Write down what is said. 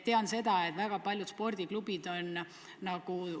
Tean seda, et väga paljud spordiklubid on hädas.